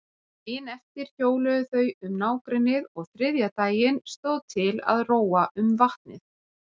Daginn eftir hjóluðu þau um nágrennið og þriðja daginn stóð til að róa um vatnið.